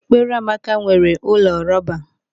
Ekpereamaka nwere ụlọ rọba.